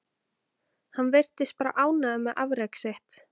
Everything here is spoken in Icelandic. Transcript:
Hann virtist bara ánægður með afrek sitt.